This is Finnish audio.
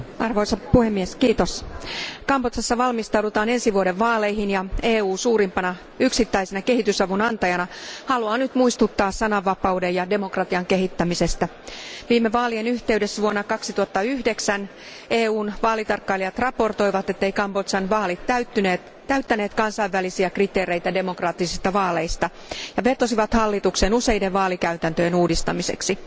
Arvoisa puhemies, Kambodžassa valmistaudutaan ensi vuoden vaaleihin, ja EU suurimpana yksittäisenä kehitysavun antajana haluaa nyt muistuttaa sananvapauden ja demokratian kehittämisestä. Viime vaalien yhteydessä vuonna 2009 EUn vaalitarkkailijat raportoivat, etteivät Kambodžan vaalit täyttäneet kansainvälisiä kriteereitä demokraattisista vaaleista ja vetosivat hallitukseen useiden vaalikäytäntöjen uudistamiseksi.